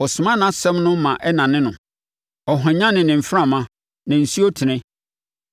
Ɔsoma nʼasɛm no ma ɛnane no; ɔhwanyane ne mframa, na nsuo tene.